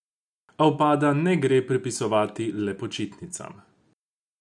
A upada ne gre pripisovati le počitnicam.